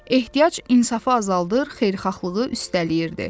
Ehtiyac insafı azaldır, xeyirxahlığı üstələyirdi.